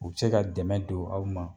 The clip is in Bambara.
U se ka dɛmɛ don aw ma